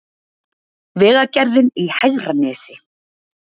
Vegagerðin í Hegranesi